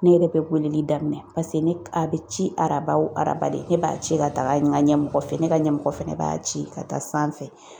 Ne yɛrɛ bɛ weleli daminɛ paseke ne a bɛ ci araba araba de; ne b'a ci ka taga yen n ka ɲɛmɔgɔ fɛ, ne ka ɲɛmɔgɔ fɛnɛ b'a ci ka taa sanfɛ.